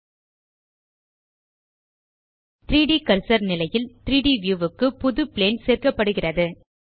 3ட் கர்சர் நிலையில் 3ட் வியூ க்கு புது பிளேன் சேர்க்கப்படுகிறது